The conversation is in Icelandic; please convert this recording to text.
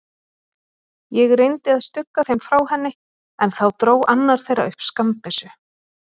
Ég reyndi að stugga þeim frá henni, en þá dró annar þeirra upp skammbyssu.